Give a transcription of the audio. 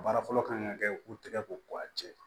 Baara fɔlɔ kan ka kɛ k'u tigɛ ko k'a jɛ